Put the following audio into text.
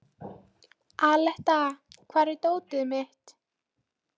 Aletta, hvar er dótið mitt?